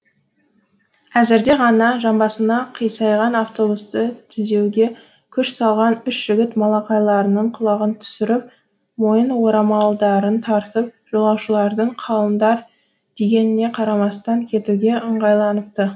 әзірде ғана жамбасына қисайған автобусты түзеуге күш салған үш жігіт малақайларының құлағын түсіріп мойын орамалдарын тартып жолаушылардың қалыңдар дегеніне қарамастан кетуге ыңғайланыпты